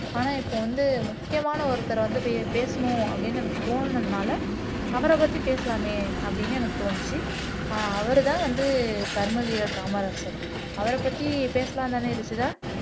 ஆனா இப்போ வந்து முக்கியமான ஒருத்தரை வந்து பேசணும் அப்படின்னு எனக்கு தோணுனதுனால அவரைப்பத்தி பேசலாமே அப்படின்னு எனக்கு தோணுச்சு அவர்தான் வந்து கர்மவீரர் காமராஜர் அவரைப்பத்தி பேசலாம் தானே ருஷிதா